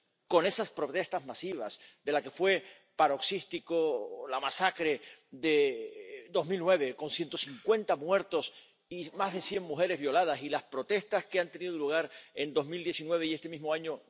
con esas protestas masivas de la que fue paroxística la masacre de 2009, con 150 muertos y más de cien mujeres violadas, y las protestas que han tenido lugar en 2019 y este mismo año